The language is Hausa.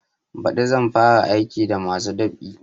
Baɗi zan fara aiki da masu dab'i